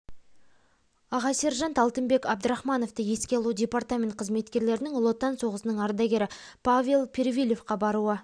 аға сержант алтынбек абдрахмановты еске алу департамент қызметкерлерінің ұлы отан соғысының ардагері павел перфильевқа баруы